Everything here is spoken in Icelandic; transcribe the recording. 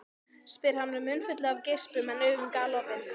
spyr hann með munnfylli af geispum en augun galopin.